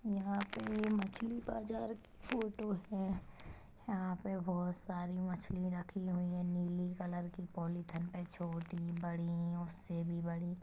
यहाँ पे मछली बाज़ार फोटो है यहाँ पे बहुत सारी मछली रखी हुई हैं नीली कलर की पॉलिथीन पे छोटी बड़ी उससे भी बड़ी--